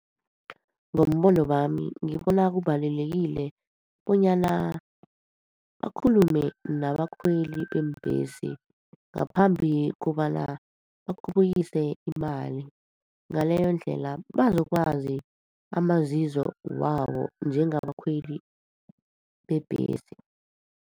Ngombono wami, ngibona kubalulekile bonyana bakhulume nabakhweli beembhesi, ngaphambi kobana bakhuphukise imali. Ngaleyo ndlela, bazokwazi amazizo wabo njengabakhweli bebhesi.